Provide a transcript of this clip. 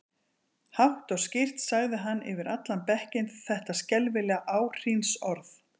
Hátt og skýrt sagði hann yfir allan bekkinn þetta skelfilega áhrínsorð